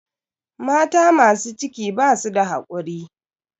Mata masu ciki basu da hakuri.